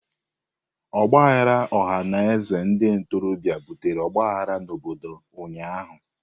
Ọgba aghara ọha na eze ndị ntorobịa butere ọgbaghara n'obodo ụnyahụ.